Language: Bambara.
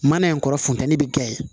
Mana in kɔrɔ funtɛni bɛ kɛ yen